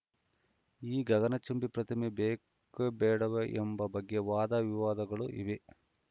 ಈ ಗಗನಚುಂಬಿ ಪ್ರತಿಮೆ ಬೇಕ್ ಬೇಡವೇ ಎಂಬ ಬಗ್ಗೆ ವಾದ ವಿವಾದಗಳೂ ಇವೆ